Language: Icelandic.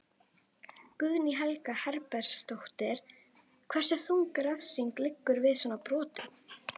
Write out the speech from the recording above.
Guðný Helga Herbertsdóttir: Hversu þung refsing liggur við svona brotum?